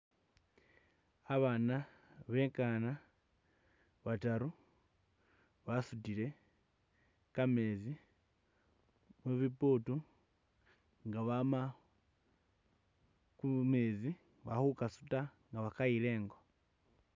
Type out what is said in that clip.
Abana bekana bataru basudile kamezi mubibutu nga bama kumezi bakhukasuta nga bakayila ingo.